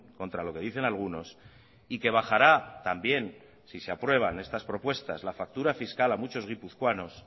contra lo que dicen algunos y que bajará también si se aprueban estas propuestas la factura fiscal a muchos guipuzcoanos